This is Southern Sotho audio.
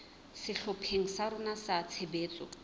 sehlopheng sa rona sa tshebetso